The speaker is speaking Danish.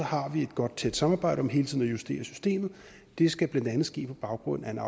har vi et godt tæt samarbejde om hele tiden at justere systemet det skal blandt andet ske på baggrund af en